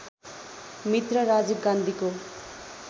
मित्र राजीव गान्धीको